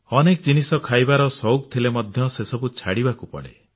ଅନେକ ଜିନିଷ ଖାଇବାର ସଉକ ଥିଲେ ମଧ୍ୟ ସେ ସବୁ ଛାଡିବାକୁ ପଡେ